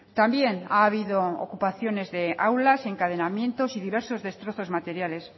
también ha habido ocupaciones de aulas encadenamientos y diversos destrozos materiales